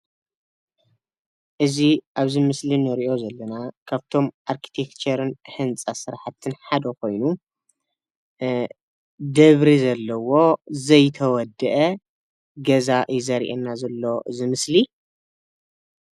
እዚ ኣብዚ ምስሊ እንሪኦ ዘለና ካብቶም ኣርቲኬቸርን ህንፃ ሰራሕትን ሓደ ኮይኑ ደብሪ ዘለዎ ዘይተወድአ ገዛ እዩ ዘርእየና ዘሎ እዚ ምስሊ::